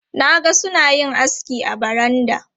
Na ga suna yin aski a baranda.